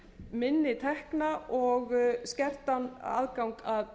minni tekna og skerts aðgangs að